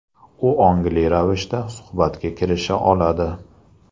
U ongli ravishda suhbatga kirisha oladi.